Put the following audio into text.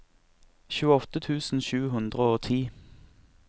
tjueåtte tusen sju hundre og ti